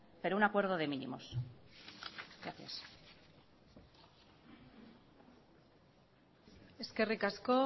pero un acuerdo de mínimos gracias eskerrik asko